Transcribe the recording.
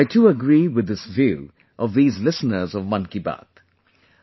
I too agree with this view of these listeners of 'Mann Ki Baat'